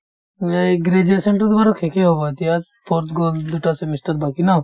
এই graduation তোতো বাৰু শেষেই হ'ব এতিয়া fourth গ'ল দুটা semester বাকি ন